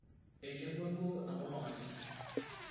eileoua duo enkolong aisioki